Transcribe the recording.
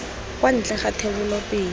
kwa ntle ga thebolo pele